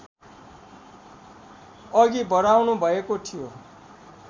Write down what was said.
अघि बढाउनुभएको थियो